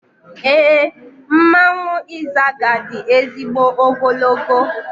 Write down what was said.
Éè, mmanwụ Izaga di ezigbo ogologo